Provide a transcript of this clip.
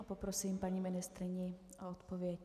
A poprosím paní ministryni o odpověď.